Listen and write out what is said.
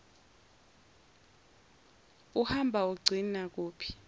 uhamba ugcine kuphi